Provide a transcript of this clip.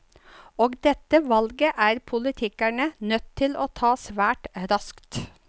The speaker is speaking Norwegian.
Og dette valget er politikerne nødt til å ta svært raskt.